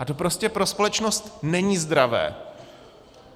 A to prostě pro společnost není zdravé.